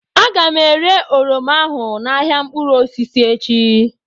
Aga m ere oroma ahụ n'ahịa mkpụrụ osisi echi